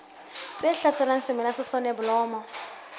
tse hlaselang semela sa soneblomo